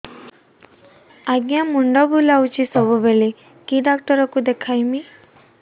ଆଜ୍ଞା ମୁଣ୍ଡ ବୁଲାଉଛି ସବୁବେଳେ କେ ଡାକ୍ତର କୁ ଦେଖାମି